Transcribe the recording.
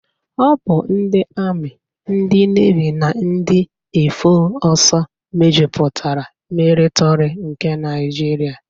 Ọ bụ ndị Ami, ndị Nevi na ndị Éfọọsụ mejupụtara militọri nke Naijiria.